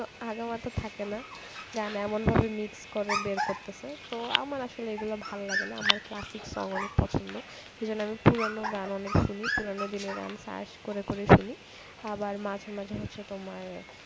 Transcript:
আগামাথা থাকে না গান এমন ভাবে mixed করে বের করতেছে তো আমার আসলে এগুলো ভালো লাগেনা আমার classic song অনেক পছন্দ এবং আমি পুরনো গান অনেক শুনি। পুরনো দিনের গান search করে করে শুনি আবার মাঝে মাঝে হচ্ছে তোমার